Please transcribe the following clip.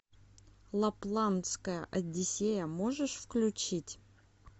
лапландская одиссея можешь включить